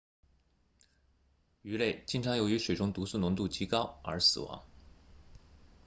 鱼类经常由于水中毒素浓度极高而死亡